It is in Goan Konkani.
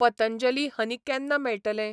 पतंजली हनी केन्ना मेळटलें?